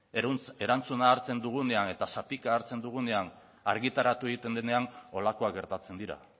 erantzuna hartzen dugunean eta zatika hartzen dugunean argitaratu egiten denean holakoak gertatzen dira